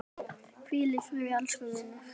Hvíl í friði elsku vinur!